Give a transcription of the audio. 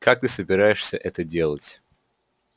как ты собираешься это делать